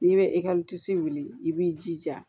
N'i bɛ ekɔli disi wili i b'i jija